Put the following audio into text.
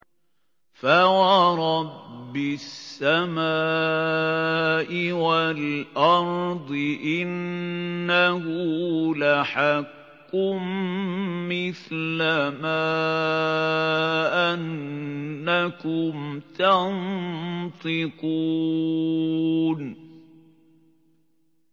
فَوَرَبِّ السَّمَاءِ وَالْأَرْضِ إِنَّهُ لَحَقٌّ مِّثْلَ مَا أَنَّكُمْ تَنطِقُونَ